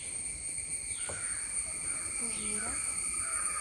ужура